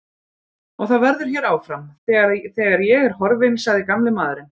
Og það verður hér áfram, þegar ég er horfinn sagði gamli maðurinn.